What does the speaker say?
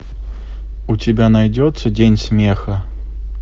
у тебя найдется день смеха